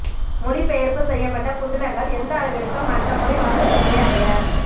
மொழிபெயர்ப்பு செய்யப்பட்ட புதினங்கள் எந்த அளவிற்கு மற்ற மொழி வாசகர்களை அடைய